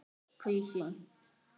Taka af.